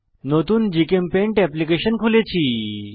নতুন জিচেমপেইন্ট এপ্লিকেশন খুলেছি